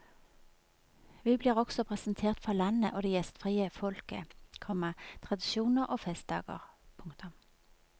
Vi blir også presentert for landet og det gjestfrie folket, komma tradisjoner og festdager. punktum